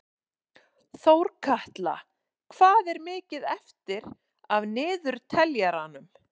Þórkatla, hvað er mikið eftir af niðurteljaranum?